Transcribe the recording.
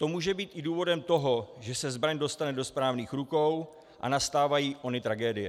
To může být i důvodem toho, že se zbraň dostane do správných (?) rukou a nastávají ony tragédie.